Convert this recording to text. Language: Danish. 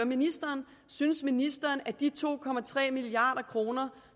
ministeren synes ministeren at de to milliard kr